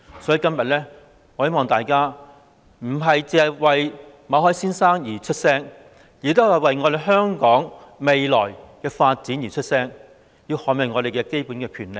所以，今天我希望大家不單是為馬凱先生而發聲，也是為了香港未來的發展而發聲，並要捍衞我們的基本權利。